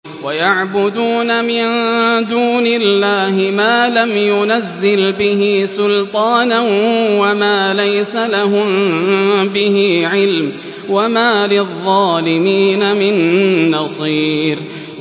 وَيَعْبُدُونَ مِن دُونِ اللَّهِ مَا لَمْ يُنَزِّلْ بِهِ سُلْطَانًا وَمَا لَيْسَ لَهُم بِهِ عِلْمٌ ۗ وَمَا لِلظَّالِمِينَ مِن نَّصِيرٍ